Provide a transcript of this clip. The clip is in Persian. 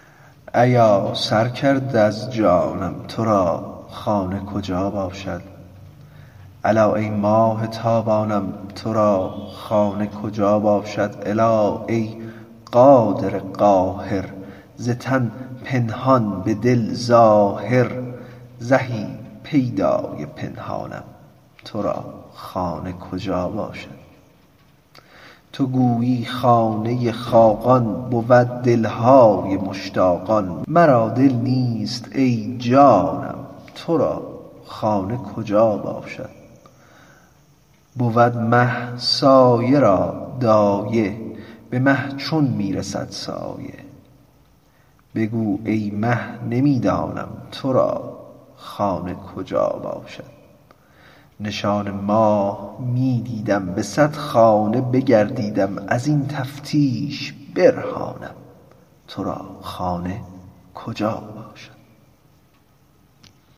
ایا سر کرده از جانم تو را خانه کجا باشد الا ای ماه تابانم تو را خانه کجا باشد الا ای قادر قاهر ز تن پنهان به دل ظاهر زهی پیدای پنهانم تو را خانه کجا باشد تو گویی خانه خاقان بود دل های مشتاقان مرا دل نیست ای جانم تو را خانه کجا باشد بود مه سایه را دایه به مه چون می رسد سایه بگو ای مه نمی دانم تو را خانه کجا باشد نشان ماه می دیدم به صد خانه بگردیدم از این تفتیش برهانم تو را خانه کجا باشد